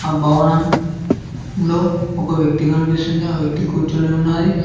ఆ భవనం లో ఒక వ్యక్తి కనిపిస్తుంది ఆ వ్యక్తి కూర్చొని ఉన్నది.